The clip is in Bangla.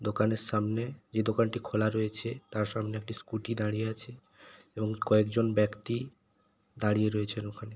দোকানের সামনে যে দোকানটি খোলা রয়েছে তার সামনে একটি স্কুটি দাঁড়িয়ে আছে এবং কয়েকজন ব্যক্তি দাঁড়িয়ে রয়েছেন ওখানে।